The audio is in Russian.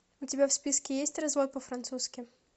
у тебя в списке есть развод по французски